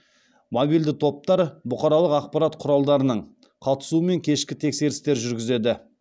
мобильді топтар бұқаралық ақпарат құралдарының қатысуымен кешкі тексерістер жүргізеді